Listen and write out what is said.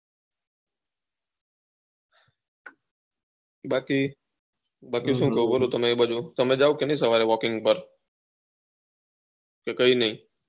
બાકી બાકી શું તમે જાવ કે નહી એ બાજુ વાલ્કીંગ પર કે કઈ નહી